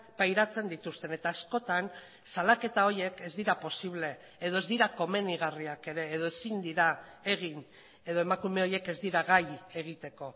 pairatzen dituzten eta askotan salaketa horiek ez dira posible edo ez dira komenigarriak ere edo ezin dira egin edo emakume horiek ez dira gai egiteko